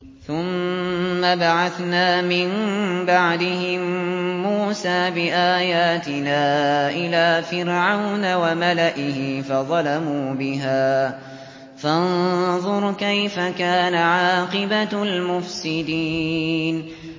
ثُمَّ بَعَثْنَا مِن بَعْدِهِم مُّوسَىٰ بِآيَاتِنَا إِلَىٰ فِرْعَوْنَ وَمَلَئِهِ فَظَلَمُوا بِهَا ۖ فَانظُرْ كَيْفَ كَانَ عَاقِبَةُ الْمُفْسِدِينَ